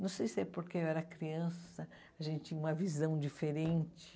Não sei se é porque eu era criança, a gente tinha uma visão diferente.